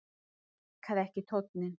Honum líkaði ekki tónninn.